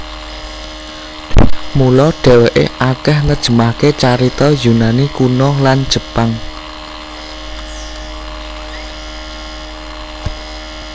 Mula dheweke akeh nerjemahake carita Yunani Kuno lan Jepang